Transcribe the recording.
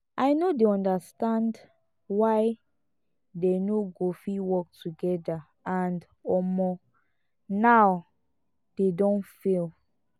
i no dey understand why dey no go fit work together and om0 um now dey don fail